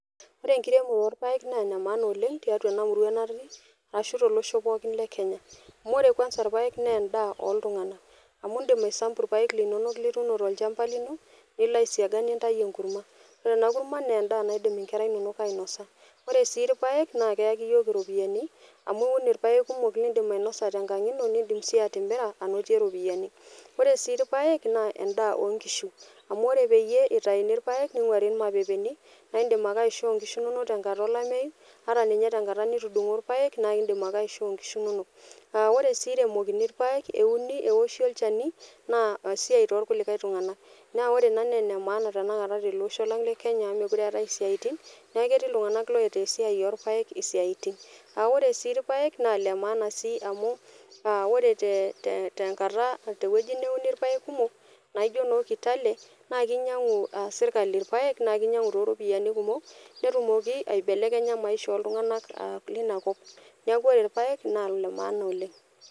Wore enkiremore oorpaek naa ene maana oleng' tiatua ena murua natii, ashu tolosho pookin le Kenya. Amu wore kwanza irpaek naa endaa oltunganak. Amu iindim aisambu irpaek linonok lituuno tolshamba lino, nilo aisiaga nintayu enkurma. Wore ena kurma naa endaa naidim inkera inonok ainosa. Wore sii irpaek naa keaki iyiok iropiyani amu iwun irpaek kumok liindim ainosa tenkang' ino niindim sii atimira ainotie iropiyani. Wore sii irpaek naa endaa oonkishu, amu wore peyie itauni irpaek ninguari irmapepeni, naa indim ake aishoo inkishu inonok tenkata olameyu, ata ninye tenkata nitudungo irpaek naa iindim ake aishoo inkishu inonok. Naa wore sii eremokini irpaek euni eoshi olchani, naa esiai tookulikae tunganak. Naah wore ina naa ene maana tenakata teleosho lang lekenya amu mekure eetae isiatin, neeku ketii iltunganak oitaa esiai oorpaek isiatin. Naa wore sii irpaek naa Ile maana sii amu wore tenkata tewoji neuni irpaek kumok naa ijo noo Kitale, naa kinyiangu serkali irpaek naa kinyiangu tooropiyiani kumok, netumoki aibelekenya maisha oltunganak liniakop. Neeku wore irpaek naa ile maana oleng'.